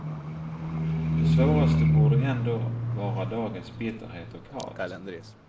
Det svåraste borde ändå vara dagens bitterhet och hat.